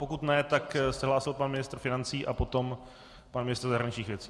Pokud ne, tak se hlásil pan ministr financí a potom pan ministr zahraničních věcí.